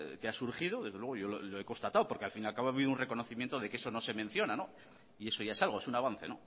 que ha surgido desde luego yo lo he constatado porque al fin y al cabo ha habido un reconocimiento de que eso no se menciona y eso ya es algo es un avance